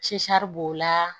b'o la